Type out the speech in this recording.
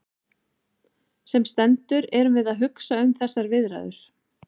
Sem sendur erum við að hugsa um þessar viðræður.